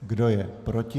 Kdo je proti?